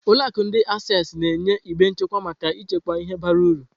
Ụlọ akụ ndi Access na-enye igbe nchekwa maka ịchekwa ihe bara uru.